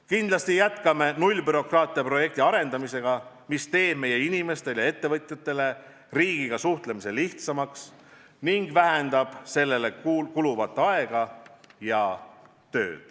Kindlasti jätkame nullbürokraatia projekti arendamist, mis teeb meie inimestele ja ettevõtjatele riigiga suhtlemise lihtsamaks ning vähendab sellele kuluvat aega ja tööd.